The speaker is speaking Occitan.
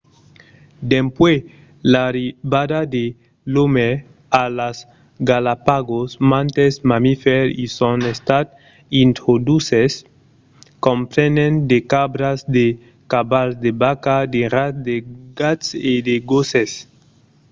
dempuèi l'arribada de l'òme a las galápagos mantes mamifèrs i son estat introduches comprenent de cabras de cavals de vacas de rats de gats e de gosses